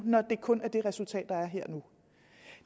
når det kun er det resultat der er her nu